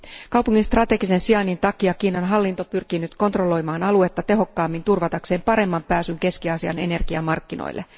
Kaupungin strategisen sijainnin takia Kiinan hallinto pyrkii nyt kontrolloimaan aluetta tehokkaammin turvatakseen paremman pääsyn Keski Aasian energiamarkkinoille.